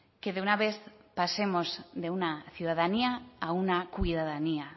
que de una vez pasemos de una ciudadanía a una cuidadanía